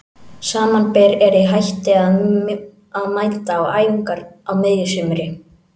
Samanber er ég hætti að mæta á æfingar á miðju sumri.